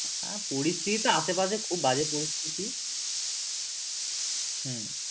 আর পরিস্থিতি তো আশে পাশে খুব বাজে পরিস্থিতি হম